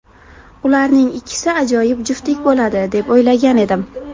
Ularning ikkisi ajoyib juftlik bo‘ladi, deb o‘ylagan edim.